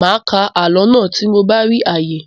Màá ká àlọ́ náà tí mo bá rí àyè.